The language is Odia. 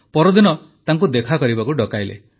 ପରଦିନ ତାଙ୍କୁ ଦେଖା କରିବାକୁ ଡକାଇଲେ